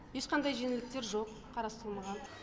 ешқандай жеңілдіктер жоқ қарастырылмаған